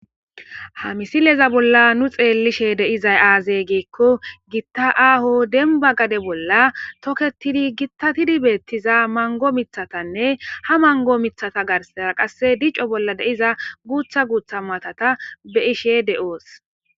ha misileza bolla nu xeellishe de7izay aazey giikko gitta aaho denba gade bolla toketidi gittatidi beettiza mango mithatanne ha mango mithata garsaza qasse dico bolla de7iza guutha guutha matata be ishe de7oos